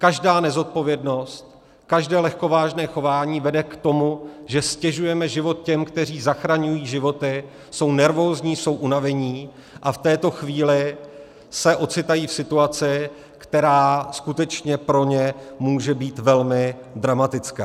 Každá nezodpovědnost, každé lehkovážné chování vede k tomu, že ztěžujeme život těm, kteří zachraňují životy, jsou nervózní, jsou unavení a v této chvíli se ocitají v situaci, která skutečně pro ně může být velmi dramatická.